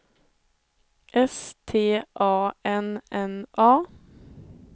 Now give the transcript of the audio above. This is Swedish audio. S T A N N A